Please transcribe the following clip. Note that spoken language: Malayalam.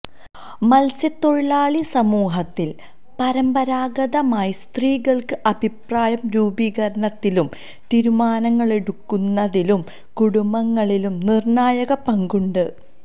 മത്സ്യത്തൊഴിലാളി സമൂഹത്തില് പരമ്പരാഗതമായി സ്ത്രീകള്ക്ക് അഭിപ്രായ രൂപീകരണത്തിലും തീരുമാനങ്ങളെടുക്കുന്നതിലും കുടുംബങ്ങളില് നിര്ണ്ണായക പങ്കുണ്ട്